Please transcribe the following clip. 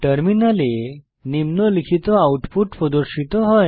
টার্মিনালে নিম্নলিখিত আউটপুট প্রদর্শিত হয়